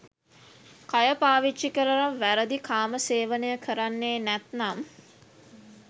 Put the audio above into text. කය පාවිච්චි කරලා වැරදි කාම සේවනය කරන්නේ නැත්නම්